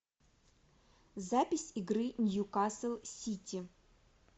запись игры ньюкасл сити